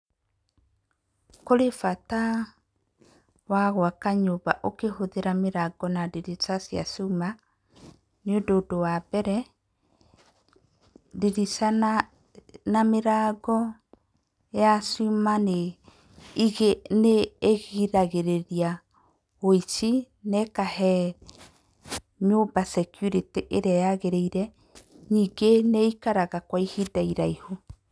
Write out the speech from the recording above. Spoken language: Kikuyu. Kũrĩ bata wa gwaka nyũmba ũkĩhũthĩra mĩrango na ndirica cia cuma, nĩ ũndũ ũndũ wa mbere, ndirica na mĩrango ya cuma nĩ ĩgiragĩrĩria ũici na ĩkahe nyũmba security ĩrĩa yagĩrĩire. Ningĩ nĩ ĩkaraga kwa ihinda iraihu.